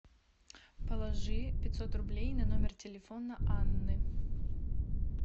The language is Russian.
положи пятьсот рублей на номер телефона анны